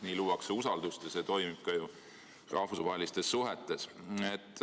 Nii luuakse usaldust ja see toimib ka ju rahvusvahelistes suhetes.